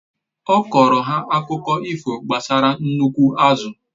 Ọ kọrọ ha akụkụ ifo gbasara nnukwu azụ